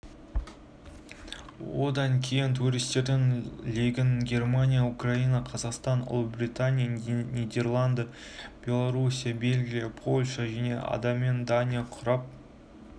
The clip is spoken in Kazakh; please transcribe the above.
одан кейін туристердің легін германия украина қазақстан ұлыбритания нидерланды белоруссия бельгия польша және адаммен дания құрап